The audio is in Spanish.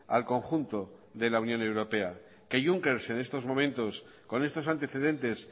al conjunto de la unión europea que juncker en estos momentos con estos antecedentes